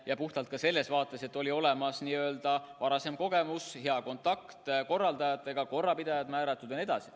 Ja seda puhtalt selle tõttu, et oli olemas varasem kogemus, hea kontakt korraldajatega, korrapidajad määratud ja nii edasi.